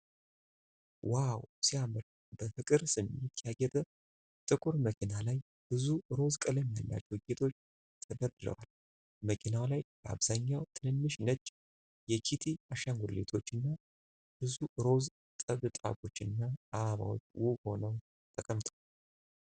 ዋው! ሲያምር! በፍቅር ስሜት ያጌጠ ጥቁር መኪና ላይ ብዙ ሮዝ ቀለም ያላቸው ጌጦች ተደርድረዋል። መኪናው ላይ በአብዛኛው ትንንሽ ነጭ የኪቲ አሻንጉሊቶች እና ብዙ ሮዝ ጥብጣቦችና አበባዎች ውብ ሆነው ተቀምጠዋል።